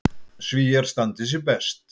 Svíar standi sig best.